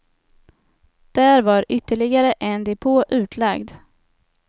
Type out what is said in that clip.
Där var ytterligare en depå utlagd.